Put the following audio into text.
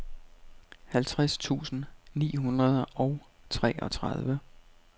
halvtreds tusind ni hundrede og treogtredive